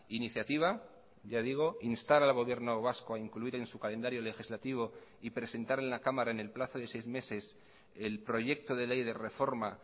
iniciativa ya digo instar al gobierno vasco a incluir en su calendario legislativo y presentar en la cámara en el plazo de seis meses el proyecto de ley de reforma